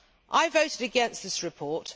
I voted against this report.